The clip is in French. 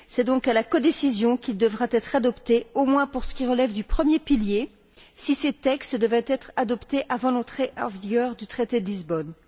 C'est donc à la codécision qu'il devra être adopté, au moins pour ce qui relève du premier pilier, si ce texte devait être adopté avant l'entrée en vigueur du traité de Lisbonne.